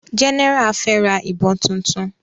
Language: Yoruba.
General fe rà ìbọn títún.